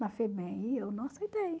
na FEBEM, e eu não aceitei.